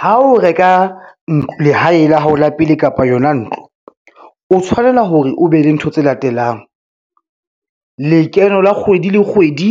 Ha o reka lehae la hao la pele kapa yona ntlo, o tshwanela hore o be le ntho tse latelang. Lekeno la kgwedi le kgwedi